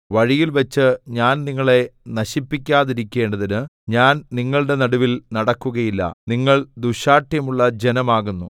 വഴിയിൽവച്ച് ഞാൻ നിങ്ങളെ നശിപ്പിക്കാതിരിക്കേണ്ടതിന് ഞാൻ നിങ്ങളുടെ നടുവിൽ നടക്കുകയില്ല നിങ്ങൾ ദുശ്ശാഠ്യമുള്ള ജനം ആകുന്നു